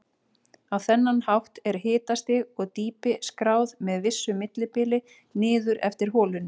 Á þennan hátt er hitastig og dýpi skráð með vissu millibili niður eftir holunni.